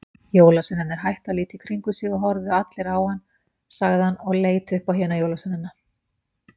Jólasveinarnir hættu að líta í kringum sig og horfðu allir á hann sagði hann og leit upp á hina jólasveinana.